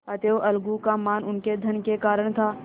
अतएव अलगू का मान उनके धन के कारण था